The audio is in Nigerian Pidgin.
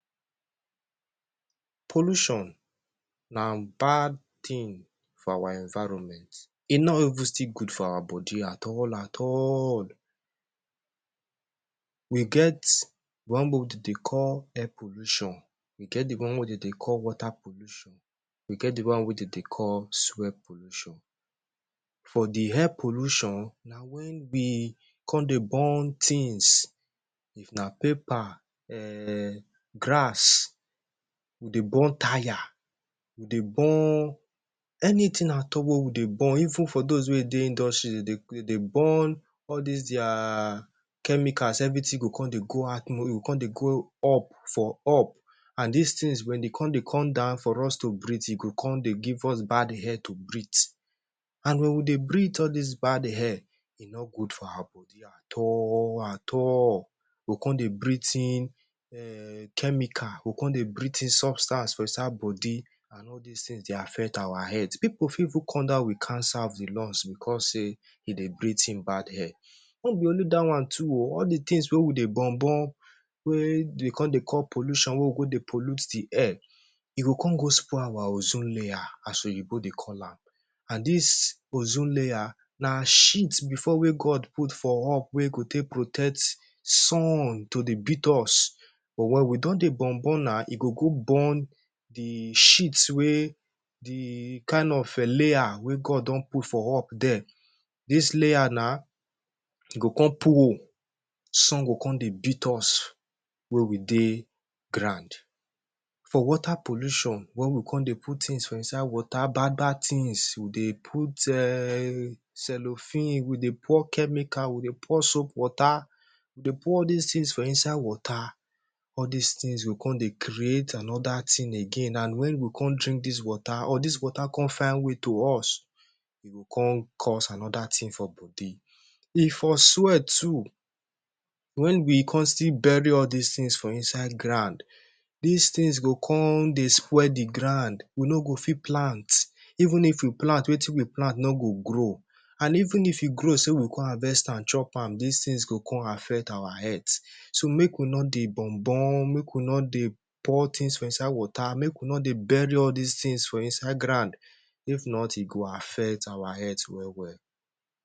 Pollution na bad tin for our environment; e no even still good for our body at all at all. We get one de dey call air pollution. We get the one wey de dey call water pollution. We get the one wey de dey call soil pollution. For the air pollution, na wen we con dey burn tins. If na paper, um grass, we dey burn tyre, we dey burn anything at all wey we dey burn. Even for dos wey dey industry de dey de dey burn all dis dia chemicals. Everything go con dey go e go con dey go up for up. An dis tins wen de con dey con down for us to breathe, e go con dey give us bad air to breathe. An wen we dey breathe all dis bad air, e no good for our body at all at all. Go con dey breathe in um chemical, go con dey breathe in substance for inside body an all dis tins dey affect our health. Pipu fit even con down with cancer of the lungs becos sey e dey breathe in bad air. No be only dat one too oh, all the tins wey we dey burn-burn wey de con dey cause pollution wey we go dey pollute the air, e go con go spoil our ozone layer as oyinbo dey call am. An dis ozone layer na sheet before wey God put for up wey go take protect sun to dey beat us. But wen we don dey burn-burn now, e go go burn the sheet wey the kain of layer wey God don put for up there. Dis layer na, e go con pull, sun go con dey beat us wey we dey ground. For water pollution, wen we con dey put tins for inside water bad-bad tins. We dey put um cellophane, we dey pour chemical, we dey pour soap water, dey pour all dis tins for inside water, all dis tins go con dey create another tin again. An wen we con drink dis water, or dis water con find way to us, e go con cause another tin for body. E for soil too wen we con still bury all dis tins for inside ground. Dis tins go con dey spoil the ground, we no go fit plant. Even if we plant, wetin we plant no go grow. An even if e grow sey we con harvest am chop am, dis tins go con affect our health. So, make we no dey burn-burn, make we no dey pour tins for inside water, make we no dey bury all dis tins for inside ground. If not, e go affect our health well-well.